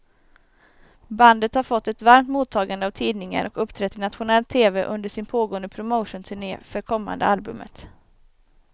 Bandet har fått ett varmt mottagande av tidningar och uppträtt i nationell tv under sin pågående promotionturné för kommande albumet.